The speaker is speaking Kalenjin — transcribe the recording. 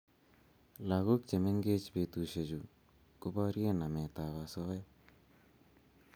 Lagok che mengech petushek chu ko barie namet ab asoya